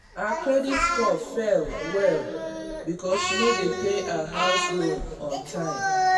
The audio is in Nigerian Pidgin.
her credit score fall well-well because she no dey pay her house loan on time.